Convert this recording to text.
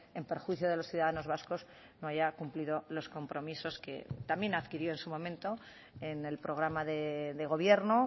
en perjuicio de los ciudadanos vascos no haya cumplido los compromisos que también adquirió en su momento en el programa de gobierno